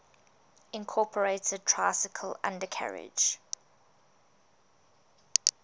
incorporated tricycle undercarriage